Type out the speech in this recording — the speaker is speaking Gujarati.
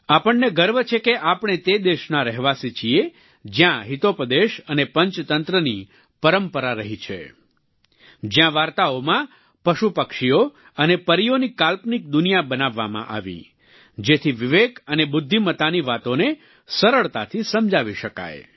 આપણને ગર્વ છે કે આપણે તે દેશના રહેવાસી છીએ જ્યાં હિતોપદેશ અને પંચતંત્રની પરંપરા રહી છે જ્યાં વાર્તાઓમાં પશુપક્ષીઓ અને પરીઓની કાલ્પનિક દુનિયા બનાવવામાં આવી જેથી વિવેક અને બુદ્ધિમતાની વાતોને સરળતાથી સમજાવી શકાય